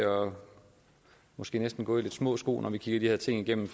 måske næsten at gå i lidt små sko når vi kigger de her ting igennem